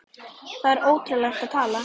Það er ótrúleg tala.